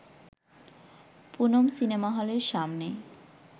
Poonam cinema হলের সামনে